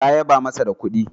Ta yaba masa da kudi